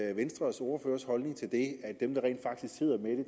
er venstres ordførers holdning til det at dem der rent faktisk sidder med